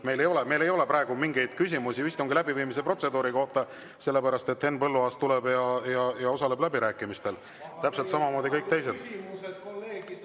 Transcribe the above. Meil ei ole praegu mingeid küsimusi istungi läbiviimise protseduuri kohta, sest Henn Põlluaas tuleb ja osaleb läbirääkimistel täpselt samamoodi nagu kõik teised.